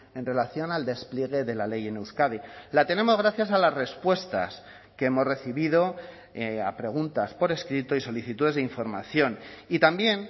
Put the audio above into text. en relación al despliegue de la ley en euskadi la tenemos gracias a las respuestas que hemos recibido a preguntas por escrito y solicitudes de información y también